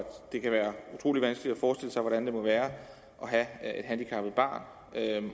det kan være utrolig vanskeligt at forestille sig hvordan det må være at have et handicappet barn